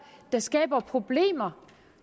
der skaber problemer